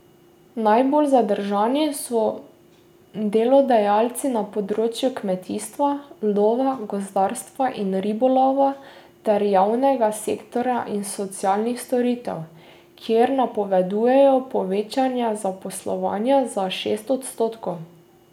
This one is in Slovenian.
Najbolj zadržani so delodajalci na področju kmetijstva, lova, gozdarstva in ribolova ter javnega sektorja in socialnih storitev, kjer napovedujejo povečanje zaposlovanja za šest odstotkov.